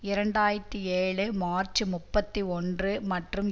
இரண்டு ஆயிரத்தி ஏழு மார்ச் முப்பத்தி ஒன்று மற்றும்